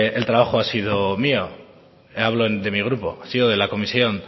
el trabajo ha sido mío hablo de mi grupo ha sido de la comisión